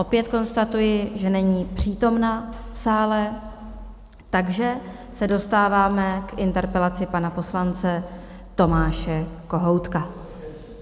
Opět konstatuji, že není přítomna v sále, takže se dostáváme k interpelaci pana poslanec Tomáše Kohoutka.